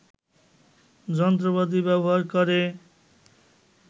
যন্ত্রপাতি ব্যবহার করে